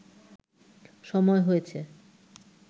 সময় হয়েছে